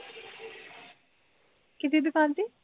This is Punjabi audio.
ਕਿਹਦੀ ਦੁਕਾਨ ਤੇ